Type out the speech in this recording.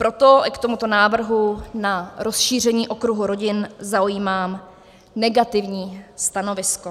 Proto k tomuto návrhu na rozšíření okruhu rodin zaujímám negativní stanovisko.